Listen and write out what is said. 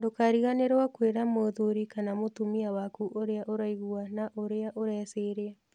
Ndũkariganĩrũo nĩ kwĩra mũthuri kana mũtumia waku ũrĩa ũraigua na ũrĩa ũreciria.